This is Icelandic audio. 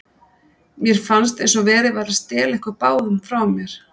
Mér fannst eins og verið væri að stela ykkur báðum frá mér.